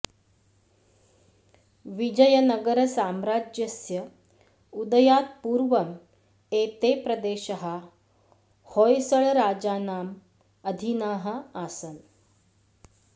विजयनगरसाम्रज्यस्य उदयात् पूर्वम् एते प्रदेशाः होय्सळराजानाम् अधीनाः आसन्